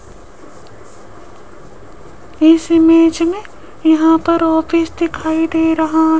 इस इमेज में यहां पर ऑफिस दिखाई दे रहा --